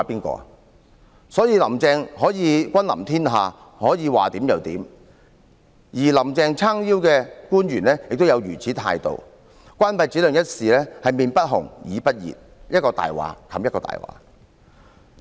所以，"林鄭"可以君臨天下，可以說怎樣就怎樣，而有"林鄭"撐腰的官員也是如此態度，對於關閉展亮中心一事，臉不紅、耳不熱，一句謊言掩蓋另一句謊言。